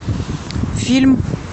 фильм